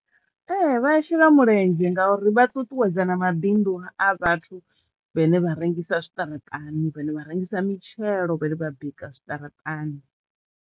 Ee vhaashela mulenzhe ngauri vha ṱuṱuwedza na mabindu a vhathu vhane vha rengisa zwiṱaraṱani, vhane vha rengisa mitshelo, vhane vha bika zwiṱaraṱani.